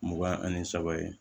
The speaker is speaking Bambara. Mugan ani saba ye